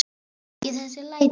Ekki þessi læti.